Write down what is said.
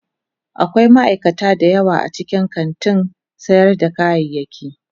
Akwai ma'aikata da yawa a cikin kantin sayar da kayayyaki.